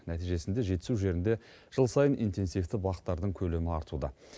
нәтижесінде жетісу жерінде жыл сайын интенсивті бақтардың көлемі артуда